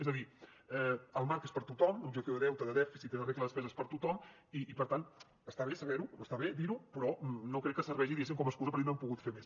és a dir el marc és per a tothom l’objectiu de deute de dèficit i de regla de despesa és per a tothom i per tant està bé saber ho està bé dir ho però no crec que serveixi diguéssim com a excusa per dir que no hem pogut fer més